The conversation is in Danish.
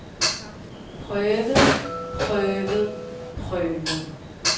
prøvet prøvet prøvet